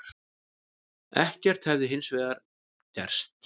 Ekkert hefði hins vegar gerst